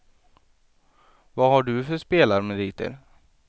Vad har du för spelarmeriter?